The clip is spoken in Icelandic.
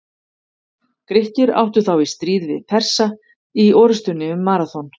Grikkir áttu þá í stríði við Persa í orrustunni um Maraþon.